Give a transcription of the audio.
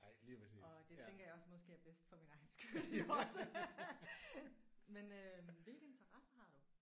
Og det tænker jeg også måske er bedst for min egen skyld også. Men øh hvilke interesser har du?